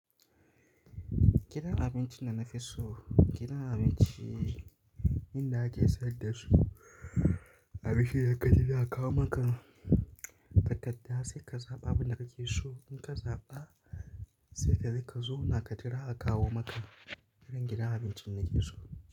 Gidan abincin da na fi so, gidan abinci inda ake sayar da su abinci yakarida a kawo maka takadda sai ka zaɓa abin da kake so. In ka zaɓa sai ka je ka zauna ka jira a kawo maka irin gidan abincin nake so.